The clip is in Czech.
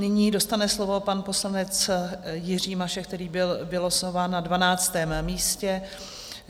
Nyní dostane slovo pan poslanec Jiří Mašek, který byl vylosován na 12. místě.